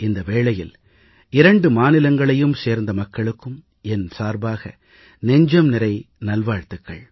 இந்த வேளையில் இரண்டு மாநிலங்களையும் சேர்ந்த மக்களுக்கும் என் சார்பாக நெஞ்சம்நிறை நல்வாழ்த்துகள்